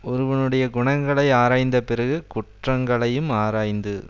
ஒருவனுடைய குணங்களை ஆராய்ந்த பிறகு குற்றங்களையும் ஆராய்ந்து